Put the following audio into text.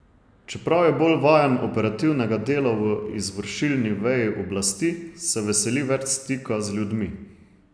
Čeprav je bolj vajen operativnega dela v izvršilni veji oblasti, se veseli več stika z ljudmi.